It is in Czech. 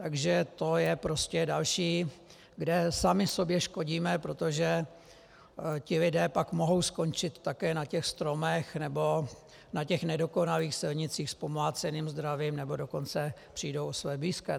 Takže to je prostě další, kde sami sobě škodíme, protože ti lidé pak mohou skončit také na těch stromech nebo na těch nedokonalých silnicích s pomláceným zdravím, nebo dokonce přijdou o své blízké.